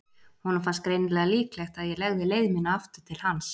Honum fannst greinilega líklegt að ég legði leið mína aftur til hans.